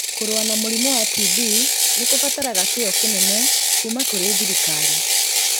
Kũrũa na mũrimũ wa TB nĩ kũbataraga kĩyo kĩnene kuuma kũrĩ thirikari,